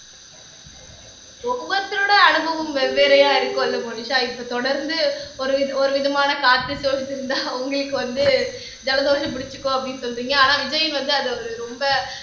ஒவ்வொருத்தரோட அனுபவம் வெவ்வேறையா இருக்கும் இல்ல மோனிஷா இப்ப தொடர்ந்து ஒரு வித ஒரு விதமான காற்று சூழ்ந்திருந்தா அவங்களுக்கு வந்து ஜலதோஷம் பிடிச்சுக்கோ அப்படின்னு சொல்றீங்க ஆனா விஜயன் வந்து அதை ஒரு ரொம்ப